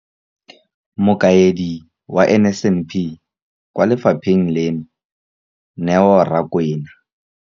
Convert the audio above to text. Mokaedi wa NSNP kwa lefapheng leno, Neo Rakwena.